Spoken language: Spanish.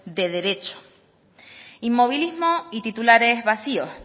de derecho inmovilismo y titulares vacíos